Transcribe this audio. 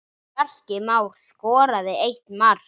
Bjarki Már skoraði eitt mark.